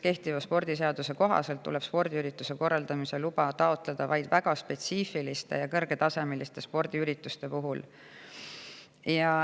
Kehtiva spordiseaduse kohaselt tuleb spordiürituse korraldamise luba taotleda vaid väga spetsiifiliste ja kõrgetasemeliste spordiürituste puhul.